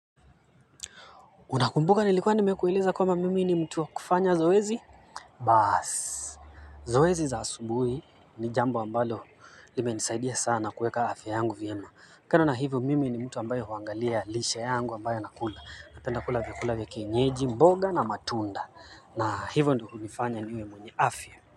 Unakumbuka nilikuwa nimekuweleza kwamba mimi ni mtu wakufanya zoezi? Baasi. Zoezi za asubuhi ni jambo ambalo limenisaidia sana kueka afya yangu vyema. Kando na hivyo mimi ni mtu ambaye huangalia lishe yangu ambayo nakula. Napenda kula vyakula vya kienyeji, mboga na matunda. Na hivyo ndio kunifanya niwe mwenye afya.